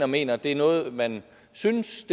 mener det er noget man synes